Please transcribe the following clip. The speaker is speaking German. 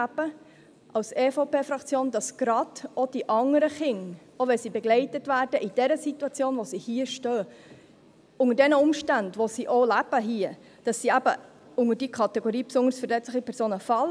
Wir als EVP-Fraktion finden, dass gerade auch die anderen Kinder, auch wenn sie begleitet werden, in der Situation, in der sie sich hier befinden, unter den Umständen, unter denen sie hier leben, eben in die Kategorie «besonders verletzliche Personen» fallen.